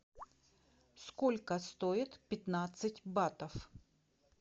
сколько стоит пятнадцать батов